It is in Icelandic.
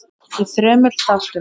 í þremur þáttum.